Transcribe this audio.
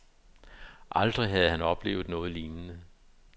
Aldrig havde han oplevet noget lignende.